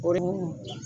O de mun